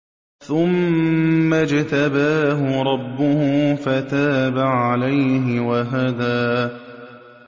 ثُمَّ اجْتَبَاهُ رَبُّهُ فَتَابَ عَلَيْهِ وَهَدَىٰ